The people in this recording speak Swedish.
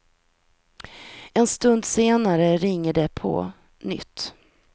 En stund senare ringer det på nytt.